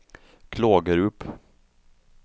Klågerup